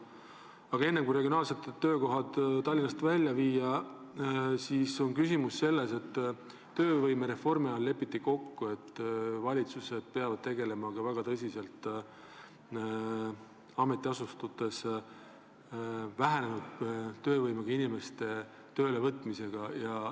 Aga peale selle, et seati sihiks osa töökohti Tallinnast välja viia, lepiti töövõimereformi raames kokku, et valitsus peab väga tõsiselt tegelema ka vähenenud töövõimega inimeste ametiasutustesse tööle võtmisega.